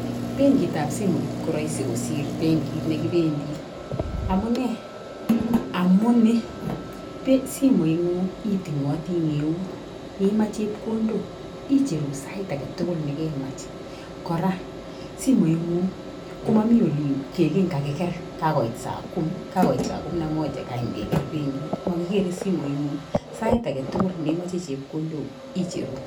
Benkit ab simoit koroisi kosir benkit nekibendii amunee, amunii simoit nguun itingotii en eut imach chepkondok icheruu sait agetukul nekemach, koraa simoit nguu komomii ole kelelen kakiker kakoit saa komi kakoit saa komi na moja kakoam keker benkit mokikere benkit nguny sai agetukul nekemach chepkondo guuk icheruu.